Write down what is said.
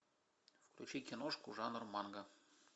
включи кинушку жанр манго